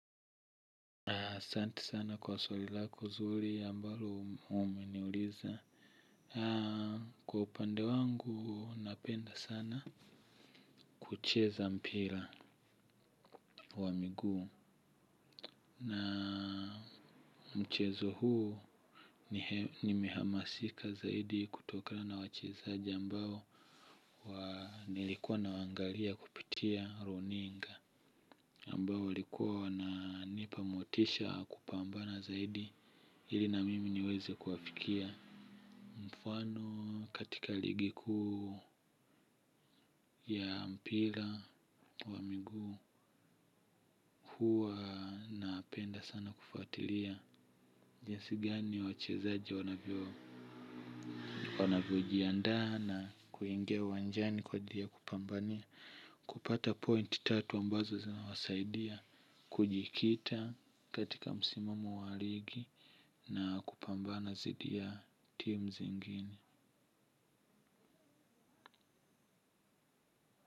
Na asanti sana kwa swali lako zuri ambalo umeniuliza. Kwa upande wangu napenda sana kucheza mpira wa miguu. Na mchezo huu ni mihamasika zaidi kutokana na wachezaji ambao nilikuwa nawaangalia kupitia runinga. Ambao walikuwa wananipa motisha kupambana zaidi ili na mimi niweze kuwafikia. Mfano katika ligi kuu ya mpira wa miguu huwa napenda sana kufuatilia jinsi gani wachezaji wanavyojiandaa na kuingia uwanjani kwa ajili ya kupambana. Kupata point tatu ambazo zinawasaidia, kujikita katika msimamo wa ligi na kupambana dhidi ya team zingine.